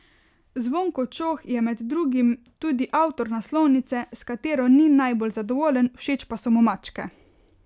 Zvonko Čoh je med drugim tudi avtor naslovnice, s katero ni najbolj zadovoljen, všeč pa so mu mačke.